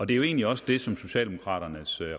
det er jo egentlig også det som socialdemokraternes